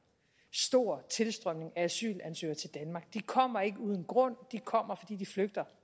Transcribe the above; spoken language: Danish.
stor tilstrømning af asylansøgere til danmark de kommer ikke uden grund de kommer fordi de flygter